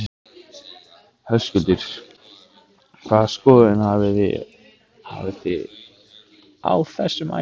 Höskuldur: Hvaða skoðun hafi þið á þessum æfingum?